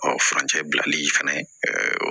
Ɔ furancɛ bilali fɛnɛ